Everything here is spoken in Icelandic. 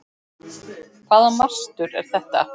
Hvaða mastur er þetta?